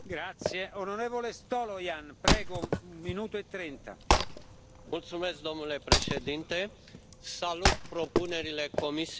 Domnule președinte, salut propunerile Comisiei Europene pentru finalizarea uniunii economice și monetare.